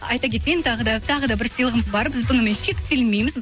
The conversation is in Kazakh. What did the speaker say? айта кетейін тағы да тағы да бір сыйлығымыз бар біз бұнымен шектелмейміз